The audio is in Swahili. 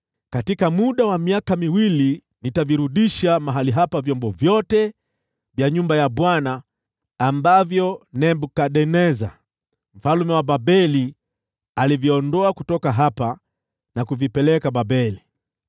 Katika muda wa miaka miwili nitavirudisha mahali hapa vyombo vyote vya nyumba ya Bwana ambavyo Nebukadneza mfalme wa Babeli aliviondoa kutoka hapa na kuvipeleka Babeli.